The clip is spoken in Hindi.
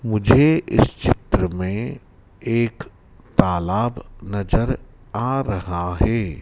मुझे इस चित्र में एक तालाब नजर आ रहा हैं।